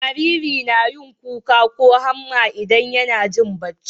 Jariri nayin kuka ko hamma idan YAna Jin bacci